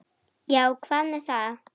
Já, hvað með það?